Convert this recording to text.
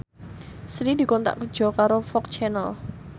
Sri dikontrak kerja karo FOX Channel